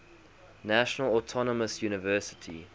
national autonomous university